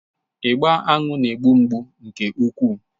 Ịgba aṅụ na-egbu mgbu nke ukwuu.